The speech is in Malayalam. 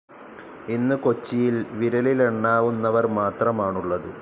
ഇന്ന് കൊച്ചിയിൽ വിരലിലെണ്ണാവുന്നവർ മാത്രമാണുള്ളത്.